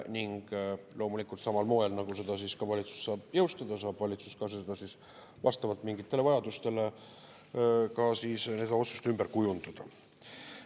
Loomulikult, samal moel, nagu valitsus saab seda jõustada, saab valitsus vastavalt mingitele vajadustele ka seda otsust ümber kujundada.